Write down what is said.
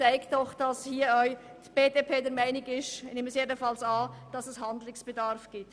Auch die BDP ist der Meinung – ich nehme es jedenfalls an –, dass Handlungsbedarf besteht.